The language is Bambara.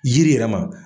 Yiri yɛrɛ ma